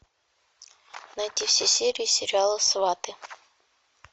найти все серии сериала сваты